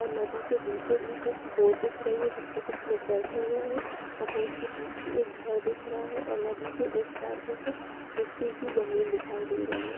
और नदी के बीचो बिच एक बोट दिख रही हैजिसपे कुछ लोग बैठे हुए है और बोट के पीछे एक घर दिख रहा है और नदी के इस पार एक मिट्टी की जमीन दिखाई दे रही है।